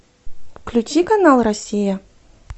включи канал россия